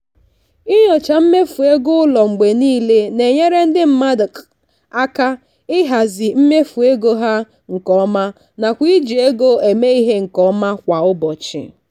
inyocha mmefu ego ụlọ mgbe niile na-enyere ndị mmadụ aka ịhazi mmefu ego ha nke ọma nakwa iji ego eme ihe nke ọma kwa ụbọchị.